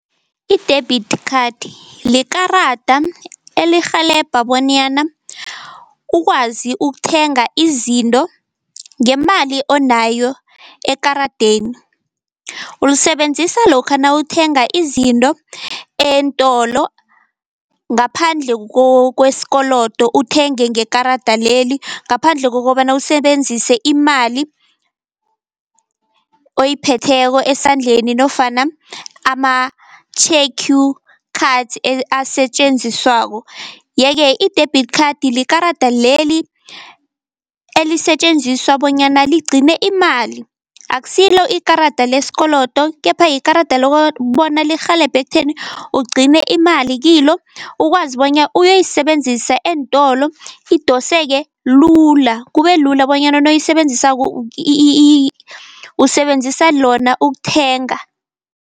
I-debit card likarada elirhelebha bonyana ukwazi ukuthenga izinto ngemali onayo ekaradeni. Ulisebenzisa lokha nawuthenga izinto eentolo ngaphandle kwesikolodo, uthenge ngekarada leli ngaphandle kokobana usebenzise imali oyiphetheko esandleni nofana ama- cards asetjenziswako. Yeke i-debit card likarada leli elisetjenziswa bonyana ligcine imali, akusilo ikarada lesikolodo kepha yikarada lokobona likurhelebhe ekutheni ugcine imali kilo, ukwazi bonya uyoyisebenzisa eentolo idoseke lula, kube lula bonyana nawuyisebenzisako usebenzisa lona ukuthenga.